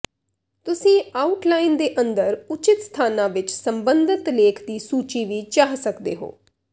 ਤੁਸੀਂ ਆਉਟਲਾਈਨ ਦੇ ਅੰਦਰ ਉਚਿਤ ਸਥਾਨਾਂ ਵਿੱਚ ਸੰਬੰਧਿਤ ਲੇਖ ਦੀ ਸੂਚੀ ਵੀ ਚਾਹ ਸਕਦੇ ਹੋ